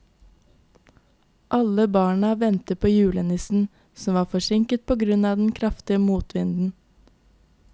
Alle barna ventet på julenissen, som var forsinket på grunn av den kraftige motvinden.